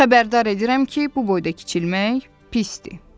Xəbərdar edirəm ki, bu boyda kiçilmək pisdir.